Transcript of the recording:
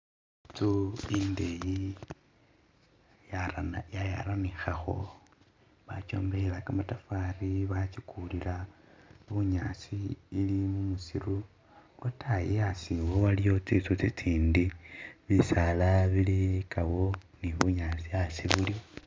I'nzu i'ndeyi yaran.. yayaranikhakho, bakyombekhela kamatafali, bachikulila bunyaasi ili musiiru lwataayi a'asi iwo waliwo tsi'nzu tsitsindi bisaala bilikawo ni bunyaasi a'asi buliwo